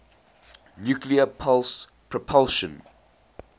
nuclear pulse propulsion